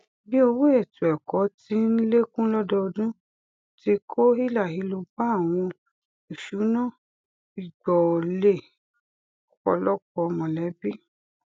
bí owó ètò ẹkọ ti n lékún lọdọọdún ti kó hílàhílo bá àwọn ìṣúná ìgbọọlé ọpọlọpọ mọlẹbí